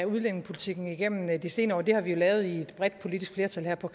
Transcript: udlændingepolitikken igennem de senere år har vi jo lavet i et bredt politisk flertal her på